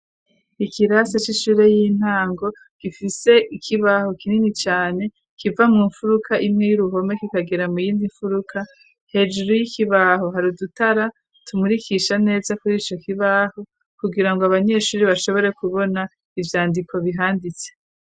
Ikirasi c'ishure y'intango, gifise ikibaho kinini cane, kiva mu mfuruka imwe y'uruhome kikagera mu yindi mfuruka, hejuru y'ikibaho hari udutara tumurikisha neza kurico kibaho, kugira ngo abanyeshuri bashobore kubona ivyandiko bihanditse.